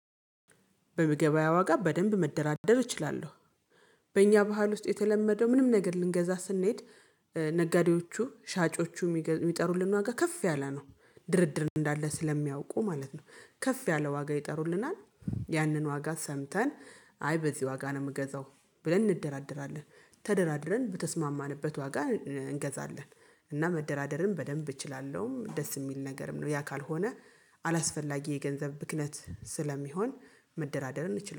በምግበያ ዋጋ በደንብ መደራደር እችላለሁ። በእኛ ባህል ውስጥ የተለመደው ምንም ነገር ልንገዛ ስንሄድ ነጋዴዎቹ ሻጮቹ የሚጠሩልን ዋጋ ከፍ ያለ ነው ድርድር እንዳለ ስለሚያውቁ ማለት ነው። ከፍ ያለ ዋጋ ይጠሩልናል ያንን ዋጋ ሰምተን አይ በዚህ ዋጋ ነው የምገዛው ብለን እንደራደራለን ተደራድረን በተስማማንበት ዋጋ እንገዛለን። እና መደራደርን በደንብ እችላለሁ ደስ የሚል ነገርም ነው። ያ ካልሆነ አላስፈላጊ የገንዘብ ብክነት ስለሚሆን መደራደርን እንችላለን